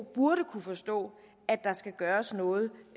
burde kunne forstå at der skal gøres noget